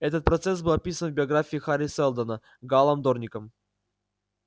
этот процесс был описан в биографии хари сэлдона гаалом дорником